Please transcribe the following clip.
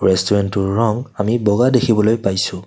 ৰেষ্টোৰেনটোৰ ৰং আমি বগা দেখিবলৈ পাইছোঁ।